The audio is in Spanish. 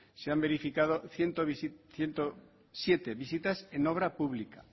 se han verificado ciento siete visitas en obras públicas